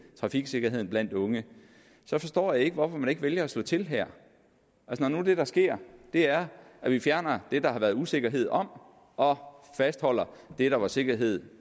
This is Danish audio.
trafiksikkerheden blandt unge så forstår jeg ikke hvorfor man ikke vælger at slå til her det der sker er at vi fjerner det der har været usikkerhed om og fastholder det der var sikkerhed